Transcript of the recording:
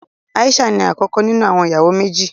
Aisha ní akọkọ nínú àwọn ìyàwó méjì.